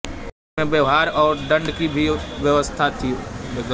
इनमें व्यवहार और दंड की भी व्यवस्था थी